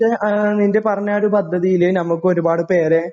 പക്ഷേ ആ നിൻ്റെ പറഞ്ഞൊരു പദ്ധതിയില് നമുക്ക് ഒരുപാട് പേരെ